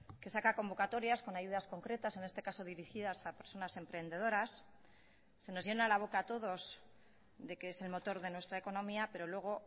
que saca convocatorias con ayudas concretas en este caso dirigidas a personas emprendedoras se nos llena la boca a todos de que es el motor de nuestra economía pero luego